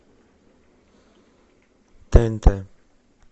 тнт